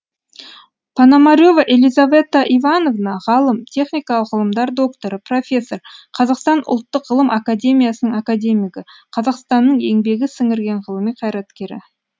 пономарева елизавета ивановна ғалым техникалық ғылымдар докторы профессор қазақстан ұлттық ғылым академиясының академигі қазақстанның еңбегі сіңірген ғылыми қайраткері